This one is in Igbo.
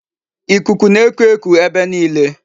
Ikuku na-eku eku ebe niile.